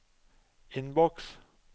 innboks